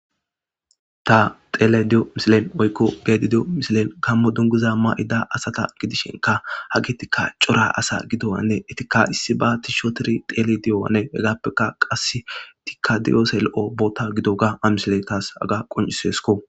ta xeleyidi7o misilen oykko geedi de7o misilen kammo dunguza ma7ida asata gidishenka hagetikka cora asa gidowanne etika issi ba tishotiri tele di7oane hegappeka qas tikadiyose lo7o boota gido ga amisile taas aga qoncisesko